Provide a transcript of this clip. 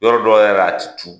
Yɔrɔ dɔ yɛrɛ la, a tɛ tu.